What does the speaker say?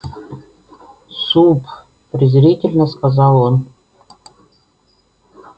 суп презрительно сказал он